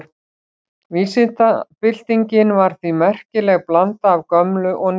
Vísindabyltingin var því merkileg blanda af gömlu og nýju.